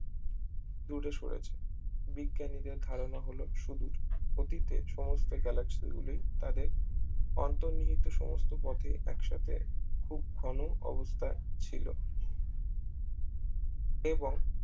দূরে সরেছে বিজ্ঞানীদের ধারণা হলো শুধু অতীতের সমস্ত galaxy গুলি তাদের অন্তর্নিহিত সমস্ত পথেই একসাথে খুব ঘন অবস্থায় ছিল এবং